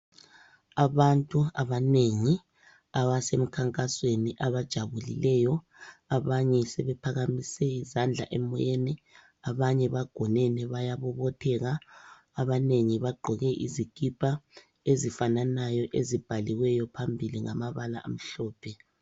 Abantu abanengi abasemkhankasweni abajabulileyo abanye sebephakamise izandla emoyeni. Abanye bagonene bayabobotheka , abanengi bagqoke izikipa ezifananayo ezibhaliweyo phambili ngamabala amhlophe.